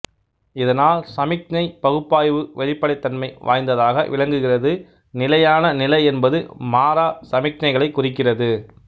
இதனால் சமிக்ஞைப் பகுப்பாய்வு வெளிப்படைத்தன்மை வாய்ந்ததாக விளங்குகிறது நிலையான நிலை என்பது மாறா சமிக்ஞைகளைக் குறிக்கிறது